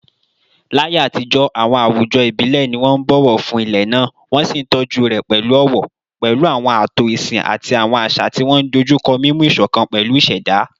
Láyé àtijọ́, àwọn àwùjọ ìbílẹ̀ ni wọ́n ń bọ̀wọ̀ fún ilẹ̀ náà, wọ́n sì ń tọ́jú rẹ̀ pẹ̀lú ọ̀wọ̀, pẹ̀lú àwọn ààtò ìsìn àti àwọn àṣà tí wọ́n dojú kọ mímú ìṣọ̀kan pẹ̀lú ìṣẹ̀dá.